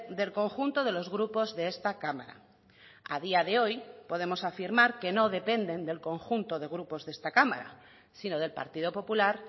del conjunto de los grupos de esta cámara a día de hoy podemos afirmar que no dependen del conjunto de grupos de esta cámara sino del partido popular